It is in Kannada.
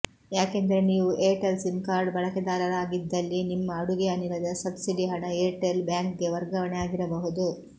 ಯಾಕೆಂದರೆ ನೀವು ಏರ್ಟೆಲ್ ಸಿಮ್ ಕಾರ್ಡ್ ಬಳಕೆದಾರರಾಗಿದ್ದಲ್ಲಿ ನಿಮ್ಮ ಅಡುಗೆ ಅನಿಲದ ಸಬ್ಸಿಡಿ ಹಣ ಏರ್ಟೆಲ್ ಬ್ಯಾಂಕ್ಗೆ ವರ್ಗಾವಣೆ ಆಗಿರಬಹುದು